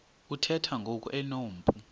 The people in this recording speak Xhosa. uthemba ngoku enompu